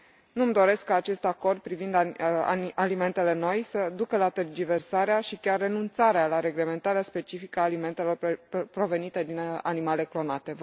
Nu mi doresc ca acest acord privind alimentele noi să ducă la tergiversarea și chiar renunțarea la reglementarea specifică a alimentelor provenite din animale clonate.